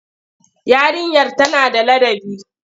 Yarinyar tana da ladabi?